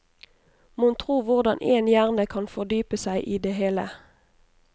Mon tro hvordan én hjerne kan fordype seg i det hele?